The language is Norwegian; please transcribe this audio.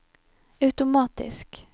automatisk